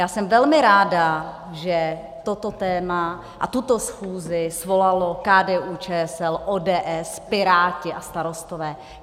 Já jsem velmi ráda, že toto téma a tuto schůzi svolaly KDU-ČSL, ODS, Piráti a Starostové.